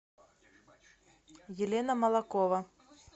елена молокова